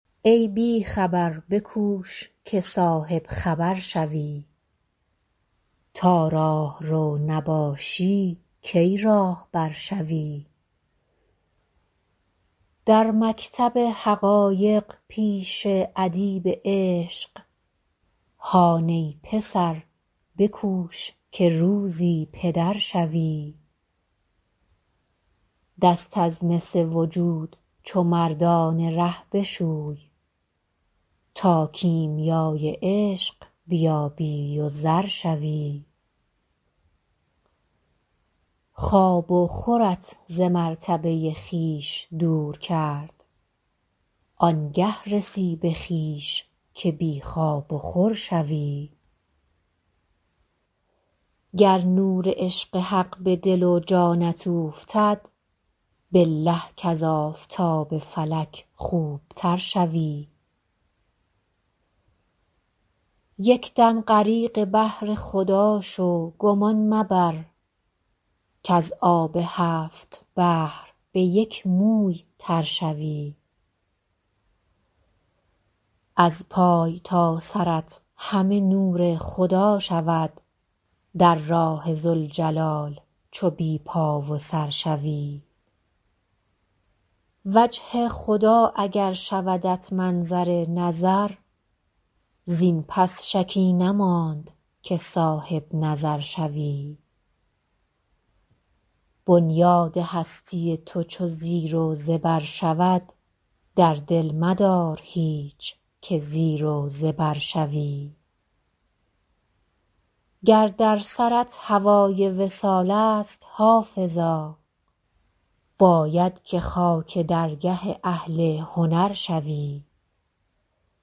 ای بی خبر بکوش که صاحب خبر شوی تا راهرو نباشی کی راهبر شوی در مکتب حقایق پیش ادیب عشق هان ای پسر بکوش که روزی پدر شوی دست از مس وجود چو مردان ره بشوی تا کیمیای عشق بیابی و زر شوی خواب و خورت ز مرتبه خویش دور کرد آن گه رسی به خویش که بی خواب و خور شوی گر نور عشق حق به دل و جانت اوفتد بالله کز آفتاب فلک خوب تر شوی یک دم غریق بحر خدا شو گمان مبر کز آب هفت بحر به یک موی تر شوی از پای تا سرت همه نور خدا شود در راه ذوالجلال چو بی پا و سر شوی وجه خدا اگر شودت منظر نظر زین پس شکی نماند که صاحب نظر شوی بنیاد هستی تو چو زیر و زبر شود در دل مدار هیچ که زیر و زبر شوی گر در سرت هوای وصال است حافظا باید که خاک درگه اهل هنر شوی